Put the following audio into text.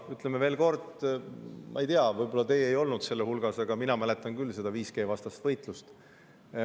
Ütlen veel kord, ma ei tea, võib-olla teie ei olnud nende hulgas, aga mina mäletan küll 5G-vastast võitlust.